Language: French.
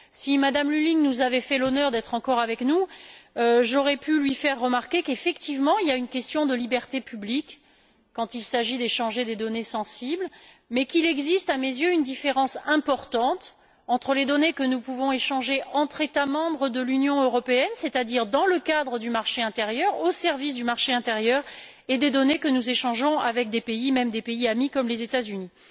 Si M me Lulling nous avait fait l'honneur d'être encore avec nous, j'aurais pu lui faire remarquer qu'effectivement, il est question des libertés publiques quand il s'agit d'échanger des données sensibles, mais qu'il existe, à mes yeux, une différence importante entre les données que nous pouvons échanger entre États membres de l'Union européenne c'est à dire dans le cadre du marché intérieur, au service du marché intérieur et les données que nous échangeons avec des pays, même des pays amis comme les États Unis.